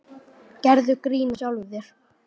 Gerðu grín að sjálfum þér.